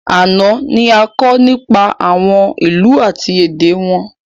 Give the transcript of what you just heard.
Àná ni a kọ nípa àwọn ìlú àti èdè wọn